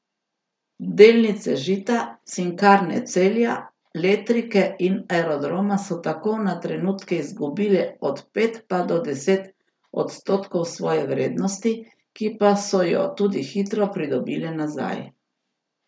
Delnice Žita, Cinkarne Celja, Letrike in Aerodroma so tako na trenutke izgubile od pet pa do deset odstotkov svoje vrednosti, ki pa so jo tudi hitro pridobile nazaj.